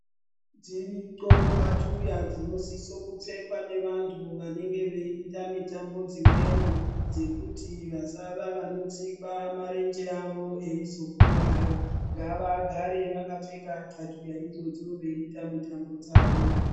Dziriko xatuya dzinosisa kupfekwa ngeantu vanenge veida mitambo dzimweni dzekuti vasava vanotsikwa marenge avo veizokwara ngavagare vakapfeka xatuya idzodzo veita mitambo dzavo